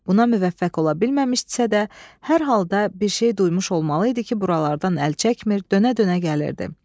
Buna müvəffəq ola bilməmişdisə də, hər halda bir şey duymuş olmalı idi ki, buralardan əl çəkmir, dönə-dönə gəlirdi.